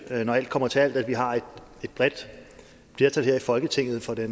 når alt kommer til alt at vi har et bredt flertal her i folketinget for det